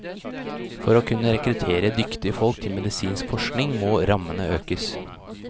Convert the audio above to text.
For å kunne rekruttere dyktige folk til medisinsk forskning må rammene økes.